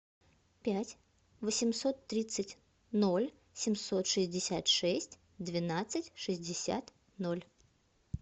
пять восемьсот тридцать ноль семьсот шестьдесят шесть двенадцать шестьдесят ноль